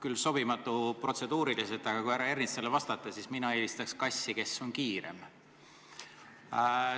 Ütlen, küll protseduuriliselt sobimatult, aga härra Ernitsale vastates, et mina eelistaks kassi, kes on kiirem.